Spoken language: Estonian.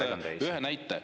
Ma toon lihtsalt ühe näite.